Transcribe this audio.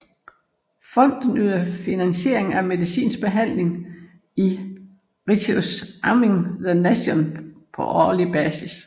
Fonden yder finansiering af medicinsk behandling i Righteous among the Nations på årlig basis